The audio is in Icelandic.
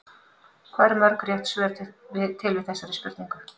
Hvað eru mörg rétt svör til við þessari spurningu?